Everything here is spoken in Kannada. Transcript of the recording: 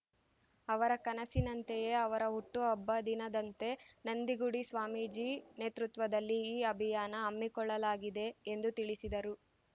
ಅವರ ಕನಸಿನಂತೆಯೇ ಅವರ ಹುಟ್ಟುಹಬ್ಬ ದಿನದಂತೆ ನಂದಿಗುಡಿ ಸ್ವಾಮೀಜಿ ನೇತೃತ್ವದಲ್ಲಿ ಈ ಅಭಿಯಾನ ಹಮ್ಮಿಕೊಳ್ಳಲಾಗಿದೆ ಎಂದು ತಿಳಿಸಿದರು